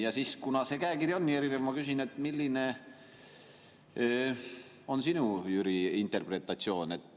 Ja siis, kuna see käekiri on nii erinev, ma küsin, milline on, Jüri, sinu interpretatsioon.